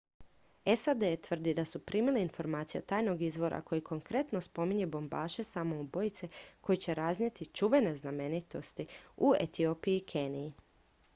"sad tvrdi da su primili informacije od tajnog izvora koji konkretno spominje bombaše samoubojice koji će raznijeti "čuvene znamenitosti" u etiopiji i keniji.